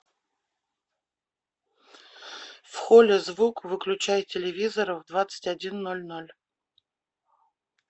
в холле звук выключай телевизора в двадцать один ноль ноль